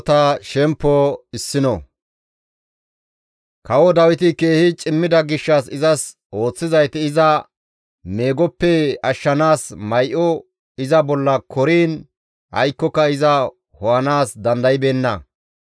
Kawo Dawiti keehi cimmida gishshas izas ooththizayti iza meegoppe ashshanaas may7o iza bolla koriin aykkoka iza ho7anaas dandaybeenna.